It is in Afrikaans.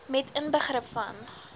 met inbegrip van